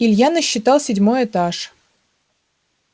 илья насчитал седьмой этаж